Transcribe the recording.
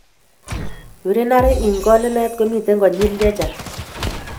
Urinary incontinence komiten konyil chechang